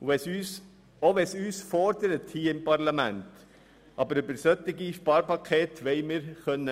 Auch wenn es uns hier im Parlament herausfordert, möchten bei solchen Sparpakete mitreden können.